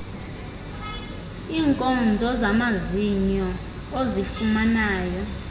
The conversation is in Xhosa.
iinkonzo zamazinyo ozifumanayo